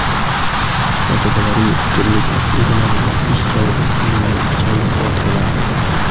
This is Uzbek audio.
Fotogalereya: Turli kasb egalarining ish joyidan olingan ajoyib fotolar.